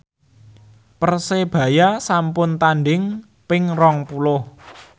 Persebaya sampun tandhing ping rong puluh